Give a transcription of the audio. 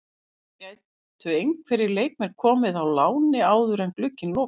Það gætu einhverjir leikmenn komið á láni áður en glugginn lokar.